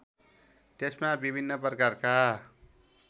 त्यसमा विभिन्न प्रकारका